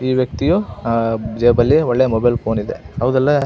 ಈ ವ್ಯಕ್ತಿಯು ಅಹ್ ಜೇಬಲ್ಲಿ ಒಳ್ಳೆಯ ಮೊಬೈಲ್ ಫೋನ್ ಇದೆ ಹೌದಿಲ್ಲ --